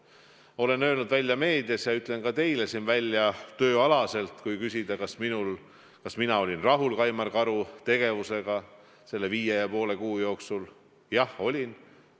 Ma olen öelnud välja meedias ja ütlen ka teile siin välja tööalaselt, et kui küsida, kas mina olin rahul Kaimar Karu tegevusega selle viie ja poole kuu jooksul, siis jah, olin.